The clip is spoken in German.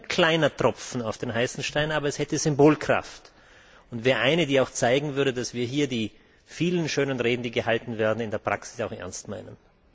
Das ist nur ein kleiner Tropfen auf den heißen Stein, aber es hätte Symbolkraft. Und es würde zeigen, dass wir hier die vielen schönen Reden, die gehalten werden, in der Praxis auch ernst meinen.